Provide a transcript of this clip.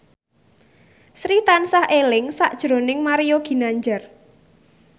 Sri tansah eling sakjroning Mario Ginanjar